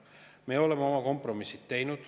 Me oleme oma kompromissid teinud.